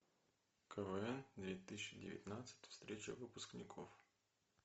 квн две тысячи девятнадцать встреча выпускников